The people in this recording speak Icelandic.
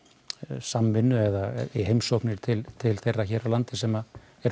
samvinnu eða í heimsóknir til til þeirra hér á landi sem